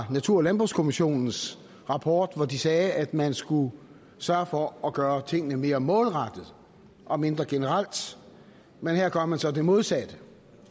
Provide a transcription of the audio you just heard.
i natur og landbrugskommissionens rapport hvor de sagde at man skulle sørge for at gøre tingene mere målrettet og mindre generelt men her gør man så det modsatte